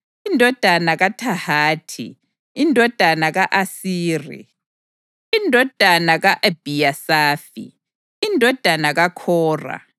indodana kaThahathi, indodana ka-Asiri, indodana ka-Ebhiyasafi, indodana kaKhora,